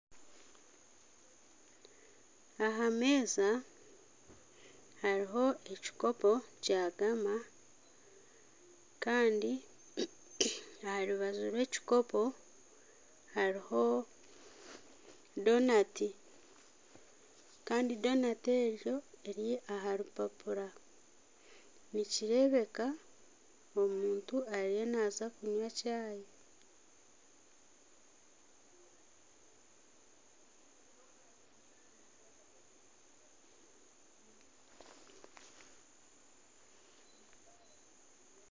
Aha meeza hariho ekikopo kya Gama kandi aha rubaju rw'ekikopo hariho Donati kandi Donati egyo eri aha rupapura nikireebeka omuntu ariyo naaza kunywa chai